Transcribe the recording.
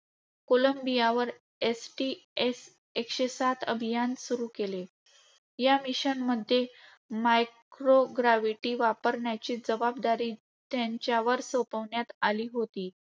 कोलंबियावर STS - एकशे सात अभियान सुरू केले. या mission मध्ये microgravity वापरण्याची जबाबदारी त्यांच्यावर सोपविण्यात आली होती,